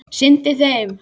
sinnti þeim.